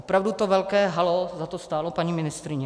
Opravdu to velké haló za to stálo, paní ministryně?